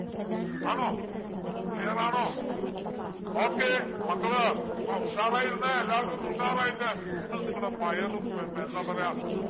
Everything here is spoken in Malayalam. ആണോ clear ആണോ okay മക്കള് മ ഉഷാറായിരുന്നെ എല്ലാരും ഒന്ന് ഉഷാറായിട്ട്‌ നിങ്ങൾ നിങ്ങടെ fire ഉം ഹും എന്താ പറയാ